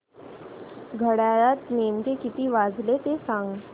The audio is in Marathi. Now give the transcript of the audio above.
घड्याळात नेमके किती वाजले ते सांग